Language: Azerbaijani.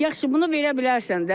Yaxşı, bunu verə bilərsən də.